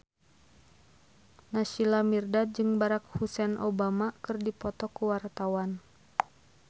Naysila Mirdad jeung Barack Hussein Obama keur dipoto ku wartawan